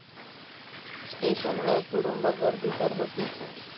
स्टेशनवर तुडूंब गर्दी तर होतीच.